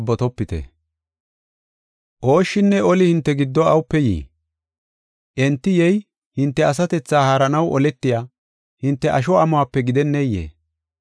Ooshshinne oli hinte giddo awupe yii? Enti yey hinte asatethaa haaranaw oletiya hinte asho amuwape gidenneyee?